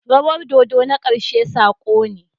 Rawar dodo na ƙarshe sako ne.